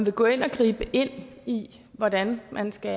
vil gå ind og gribe ind i hvordan man skal